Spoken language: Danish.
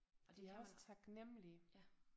Og det kan man ja